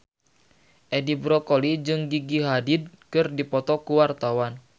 Edi Brokoli jeung Gigi Hadid keur dipoto ku wartawan